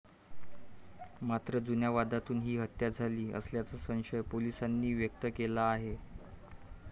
मात्र, जुन्या वादातून ही हत्या झाली असाल्याचा संशय पोलीसांनी व्यक्त केला आहे.